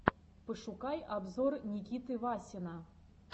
пошукай обзор никиты васина